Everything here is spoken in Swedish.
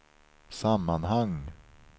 sammanhang